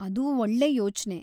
ಅದು ಒಳ್ಳೆ ಯೋಚ್ನೆ.